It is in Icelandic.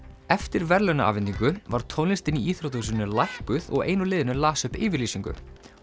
eftir verðlaunaafhendingu var tónlistin í íþróttahúsinu lækkuð og ein úr liðinu las upp yfirlýsingu